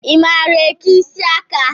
I maara eke isiaka?